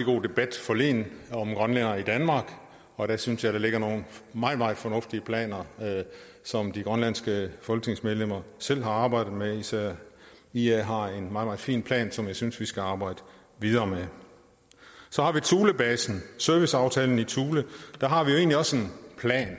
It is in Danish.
god debat forleden om grønlændere i danmark og der synes jeg der ligger nogle meget meget fornuftige planer som de grønlandske folketingsmedlemmer selv har arbejdet med især ia har en meget meget fin plan som jeg synes vi skal arbejde videre med så har vi thulebasen serviceaftalen i thule der har vi egentlig også en plan